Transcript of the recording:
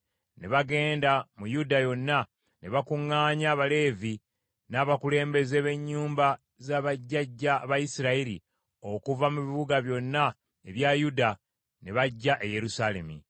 Ne bagenda mu Yuda yonna ne bakuŋŋaanya Abaleevi n’abakulembeze b’ennyumba za bajjajja ba Isirayiri okuva mu bibuga byonna ebya Yuda ne bajja e Yerusaalemi.